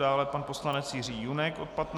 Dále pan poslanec Jiří Junek od 15 hodin.